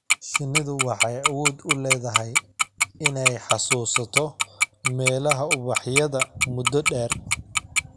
Shinnidu waxay awood u leedahay inay xasuusato meelaha ubaxyada muddo dheer.